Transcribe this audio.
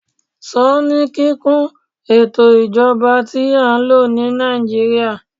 sọ ni kikun ètò ijoba ti a n lo ni nàìjíría